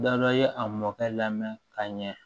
Da dɔ i ye a mɔkɛ lamɛn ka ɲɛ